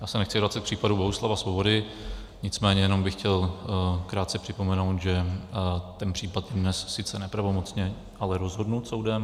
Já se nechci vracet k případu Bohuslava Svobody, nicméně jenom bych chtěl krátce připomenout, že ten případ je dnes sice nepravomocně, ale rozhodnut soudem.